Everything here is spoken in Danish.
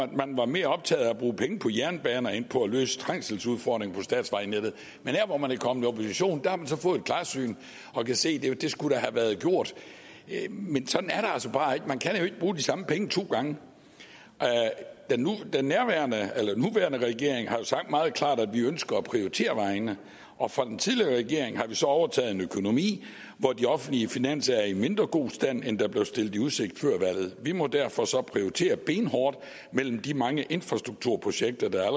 man var mere optaget af at bruge penge på jernbaner end på at løse trængselsudfordringerne på statsvejnettet men her hvor man er kommet i opposition har man så fået et klarsyn og kan se at det da skulle have været gjort men sådan er det altså bare ikke for man kan ikke bruge de samme penge to gange den nuværende regering har sagt meget klart at vi ønsker at prioritere vejene og fra den tidligere regering har vi så overtaget en økonomi hvor de offentlige finanser er i mindre god stand end der blev stillet i udsigt før valget vi må derfor så prioritere benhårdt mellem de mange infrastrukturprojekter der